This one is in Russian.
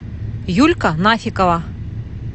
юлька нафикова